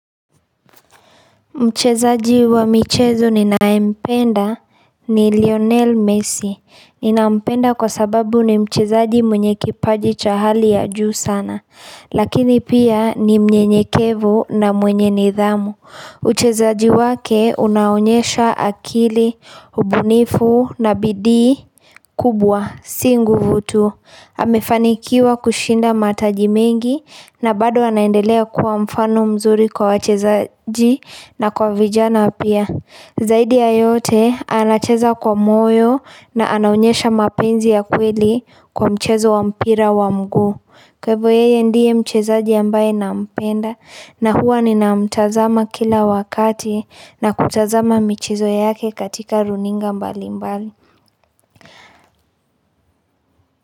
Mchezaji wa michezo ninayempenda ni Lionel Messi. Ninampenda kwa sababu ni mchezaji mwenye kipaji cha hali ya juu sana. Lakini pia ni mnyenyekevu na mwenye nidhamu. Uchezaji wake unaonyesha akili, ubunifu na bidii kubwa, si nguvu tu. Amemefanikiwa kushinda mataji mengi na bado anaendelea kuwa mfano mzuri kwa wachezaji na kwa vijana pia Zaidi ya yote anacheza kwa moyo na anaonyesha mapenzi ya kweli kwa mchezo wa mpira wa mguu Kwa hivo yeye ndiye mchezaji ambaye nampenda na huwa ninamtazama kila wakati na kutazama michezo yake katika runinga mbali mbali.